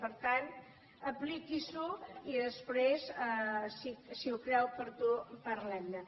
per tant apliqui s’ho i després si ho creu oportú parlem ne